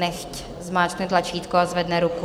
Nechť zmáčkne tlačítko a zvedne ruku.